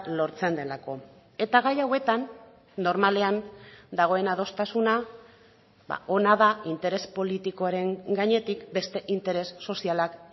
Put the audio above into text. lortzen delako eta gaia hauetan normalean dagoen adostasuna ona da interes politikoaren gainetik beste interes sozialak